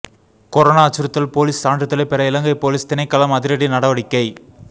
corona அச்சுறுத்தல் police சான்றிதழை பெற இலங்கை பொலிஸ் திணைக்களம் அதிரடி நடவடிக்கை